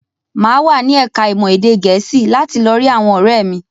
Mà á wà ní ẹ̀ka-ìmọ̀ èdè Gẹ̀ẹ́sì láti lọ rí àwọn ọ̀rẹ́ mi.